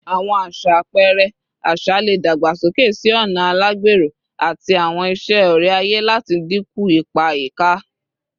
Awọn aṣa apẹrẹ aṣa le dagbasoke si ọna alagbero ati awọn iṣe ore-aye lati dinku ipa ayika